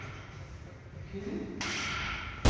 Q